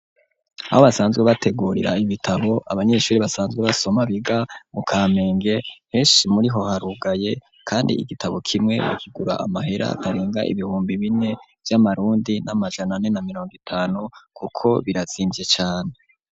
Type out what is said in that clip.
Aho basanzwe bategurira ibitabo, abanyeshuri basanzwe basoma, biga mu Kamenge, henshi muri ho harugaye, kandi igitabo kimwe bakigura amahera atarenga ibihumbi bine vy'amarundi n'amajana ane na mirongo itanu, kuko birazimvye cane.